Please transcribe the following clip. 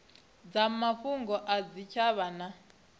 dza mafhungo a zwitshavha na